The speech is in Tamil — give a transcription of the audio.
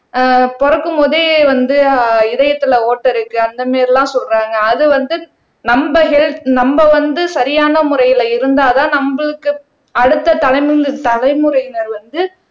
அஹ் பொறக்கும்போதே வந்து அஹ் இதயத்திலே ஓட்டை இருக்கு அந்த மாதிரி எல்லாம் சொல்றாங்க அது வந்து நம்ம ஹெல்த் நம்ம வந்து சரியான முறையில இருந்தாதான் நம்மளுக்கு அடுத்த தலைமுறை தலைமுறையினர் வந்து